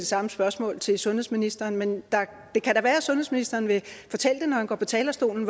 samme spørgsmål til sundhedsministeren men det kan da være at sundhedsministeren vil fortælle det når han går på talerstolen